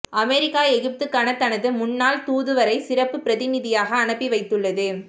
America எகிப்துக்கான தனது முன்னாள் தூதுவரை சிறப்பு பிரதிநிதியாக அனுப்பி வைத்துள்ளது